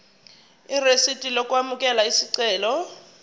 irisidi lokwamukela isicelo